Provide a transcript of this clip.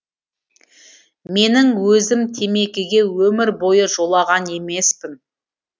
менің өзім темекіге өмір бойы жолаған емеспін